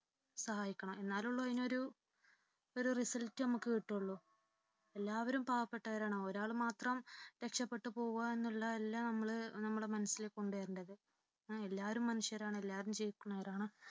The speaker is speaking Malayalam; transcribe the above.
സഹായിക്കണം എന്നാലേ ഉള്ളൂ അതിനൊരു result നമുക്ക് കിട്ടുകയുള്ളൂ. എല്ലാവരും പാവപ്പെട്ടവരാണ് ഒരാള് മാത്രം രക്ഷപെട്ടു പോകുക എന്നുള്ള അല്ല നമ്മൾ നമ്മുടെ മനസ്സിൽ കൊണ്ട് വരേണ്ടത്. എല്ലാവരും മനുഷ്യരാണ് എല്ലാവരും ജീവിക്കേണ്ടവരാണ്